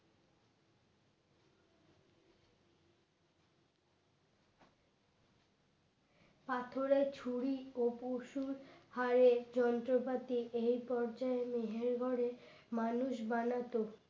পাথরে ছুরি ও পশুর হারের যন্ত্রপাতি এই পর্যায়ে মেহেরগড়ে মানুষ বানাত